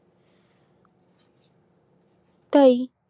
তাই